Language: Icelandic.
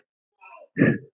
Á barnum!